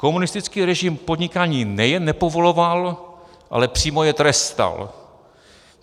Komunistický režim podnikání nejen nepovoloval, ale přímo jej trestal.